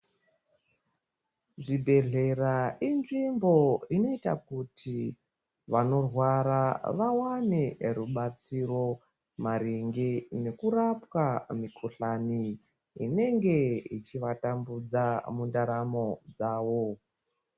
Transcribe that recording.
Zvibhedhlera inzvimbo inoita kuti vanorwara vawane rubatsiro maringe nekurapwa mikuhlani inenge ichivatambudza mundaramo dzavo .